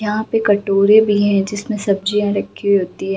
यहाँ पर कटोरा भी है जिसमें सब्जियाँ रखी होती है ।